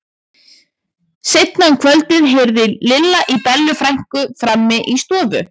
Seinna um kvöldið heyrði Lilla í Bellu frænku frammi í stofu.